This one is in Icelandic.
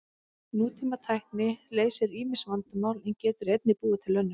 Nútímatækni leysir ýmis vandamál en getur einnig búið til önnur.